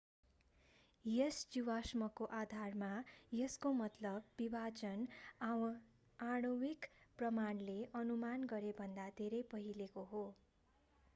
यस जीवाश्मको आधारमा यसको मतलब विभाजन आणविक प्रमाणले अनुमान गरेभन्दा धेरै पहिलेको हो